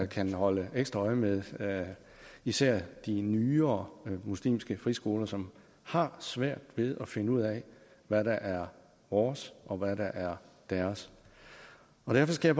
kan holde ekstra øje med især de nyere muslimske friskoler som har svært ved at finde ud af hvad der er vores og hvad der er deres derfor skal